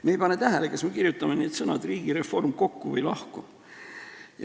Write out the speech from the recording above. Me ei pane tähele, kas me kirjutame need sõnad "riik" ja "reform" kokku või lahku.